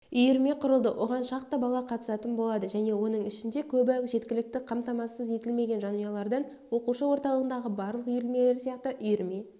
үйірме құрылды оған шақты бала қатысатын болады және оның ішінде көбі жеткілікті қамтамассыз етілмеген жанұялардан оқушы орталығындағы барлық үйірмелер сияқты үйірме